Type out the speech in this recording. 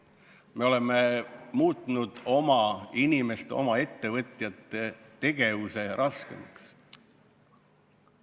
Me oleme muutnud oma inimeste, oma ettevõtjate tegevuse raskemaks.